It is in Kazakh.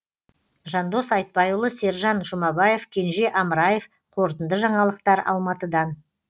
жандос айтбайұлы сержан жұмабаев кенже амраев қорытынды жаңалықтар алматыдан